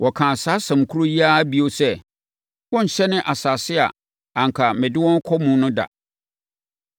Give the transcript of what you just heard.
Wɔkaa saa asɛm korɔ yi ara bio sɛ, “Wɔrenhyɛne asase a anka mede wɔn rekɔ mu no da.”